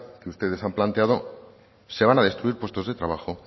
que ustedes han planteado se van a destruir puestos de trabajo